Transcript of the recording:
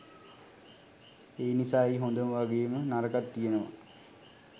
එනිසා එහි හොඳ වගේම නරකත් තියනවා